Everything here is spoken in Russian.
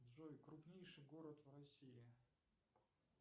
джой крупнейший город в россии